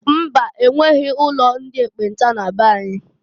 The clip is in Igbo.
Mba! E nweghi ụlo ndi ekpenta na be anyị.